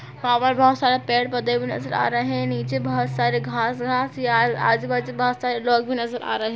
वहां पर बहुत सारे पेड़ पौधे भी नज़र आ रहे है नीचे बहुत सारे घास-घास या आजू बाजू लोग भी नज़र आ रहे है।